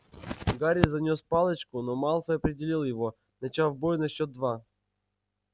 гарри занёс палочку но малфой опередил его начав бой на счёт два